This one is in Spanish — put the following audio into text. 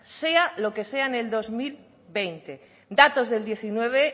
sea lo que sea en el dos mil veinte datos del diecinueve